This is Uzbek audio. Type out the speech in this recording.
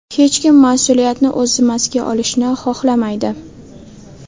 Hech kim mas’uliyatni o‘z zimmasiga olishni xohlamaydi.